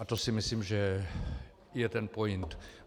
A to si myslím, že je ten point.